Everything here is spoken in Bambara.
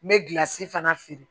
N bɛ gilasi fana feere